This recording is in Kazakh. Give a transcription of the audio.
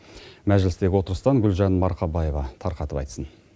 мәжілістегі отырыстан гүлжан марқабаева тарқатып айтсын